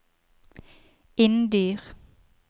Inndyr